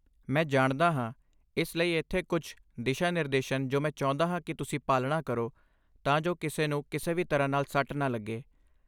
ਮੈਂ ਜਾਣਦਾ ਹਾਂ, ਇਸ ਲਈ ਇੱਥੇ ਕੁੱਝ ਦਿਸ਼ਾ ਨਿਰਦੇਸ਼ਹਨ ਜੋ ਮੈਂ ਚਾਹੁੰਦਾ ਹਾਂ ਕੀ ਤੁਸੀਂ ਪਾਲਣਾ ਕਰੋ ਤਾਂ ਜੋ ਕਿਸੇ ਨੂੰ ਕਿਸੇ ਵੀ ਤਰ੍ਹਾਂ ਨਾਲ ਸੱਟ ਨਾ ਲੱਗੇ!